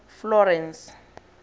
florence